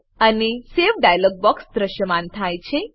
એક save save dialog box દ્રશ્યમાન થાય છે